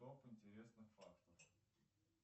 топ интересных фактов